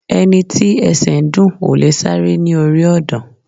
Ẹni tí ẹsẹ̀ ń dùn ò lè sáré orí ọ̀dàn